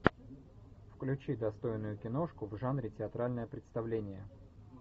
включи достойную киношку в жанре театральное представление